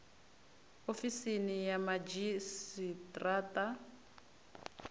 ofisini ya madzhisi ṱira ṱa